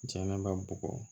Jɛnɛba bugɔ